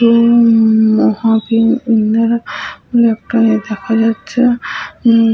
উম মহাবীর ইন্দিরা একটা দেখা যাচ্ছে উম --